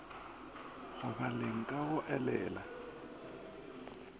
go baleng ka go elela